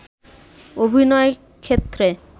অভিনয়ের ক্ষেত্রে